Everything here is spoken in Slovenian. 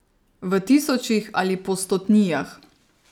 V tisočih ali po stotnijah.